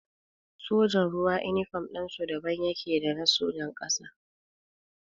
Sojan ruwa inifam ɗinsu daban yake da na sojan ƙasa